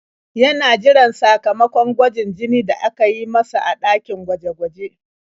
Yana jiran sakamakon gwajin jini da aka yi masa a ɗakin gwaje-gwaje.